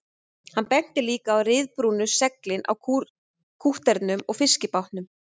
Hann benti líka á ryðbrúnu seglin á kútterunum og fiskibátunum